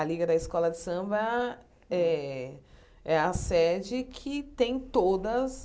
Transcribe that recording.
A Liga da Escola de Samba é é a sede que tem todas